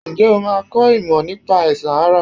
Ǹjẹ́ o máa kọ ìmọ̀ nípa àìsàn ara?